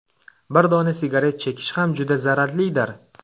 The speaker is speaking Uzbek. Bir dona sigaret chekish ham juda zararlidir.